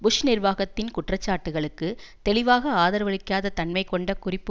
push நிர்வாகத்தின் குற்றச்சாட்டுகளுக்கு தெளிவாக ஆதரவளிக்காத தன்மை கொண்ட குறிப்பு